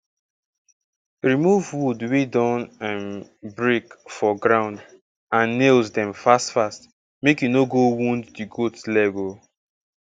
remove wood wey don um break for ground and nails um fast fast make e no go wound di goat leg um